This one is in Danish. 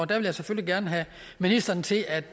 der vil jeg selvfølgelig gerne have ministeren til at